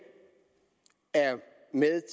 er med